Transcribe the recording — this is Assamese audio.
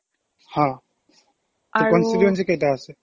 হা constituency কেইটা আছে